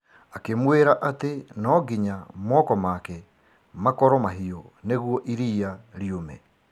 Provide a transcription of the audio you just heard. Akĩmwĩra atĩ no nginya moko make makorwo mahiũ nĩguo iriia riume.